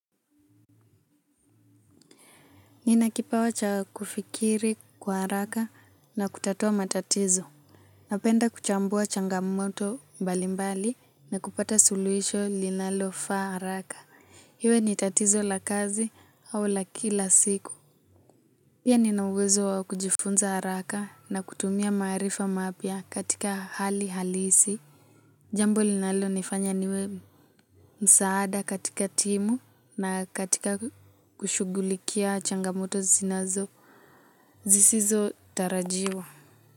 Nina kipawa cha kufikiri kwa haraka na kutatua matatizo. Napenda kuchambua changamoto mbali mbali na kupata suluhisho linalofaa haraka. Iwe ni tatizo la kazi au la kila siku. Pia nina uwezo wa kujifunza haraka na kutumia maarifa mapya katika hali halisi. Jambo linalonifanya niwe msaada katika timu na katika kushughulikia changamoto zinazo. Zisizotarajiwa.